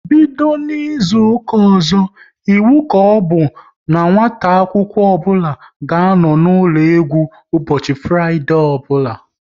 Bido n'izuka ọzọ, iwu ka ọbụ n'nwata akwụkwọ ọbụla ga-anọ n'ụlọ egwu ụbọchị Fraịdee ọbụla!